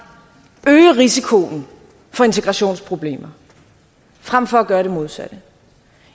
øge risikoen for integrationsproblemer frem for at gøre det modsatte